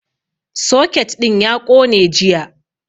Soket ɗin ya ƙone jiya